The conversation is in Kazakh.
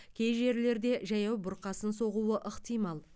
кей жерлерде жаяу бұрқасын соғуы ықтимал